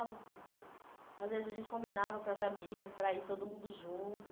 Às vezes, a gente combinava com as amigas para ir todo mundo junto.